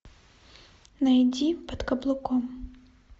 найди под каблуком